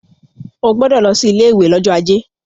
O gbọdọ̀ lọ sí ilé ìwé lọ́jọ́ ajé.